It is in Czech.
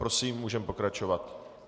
Prosím, můžeme pokračovat.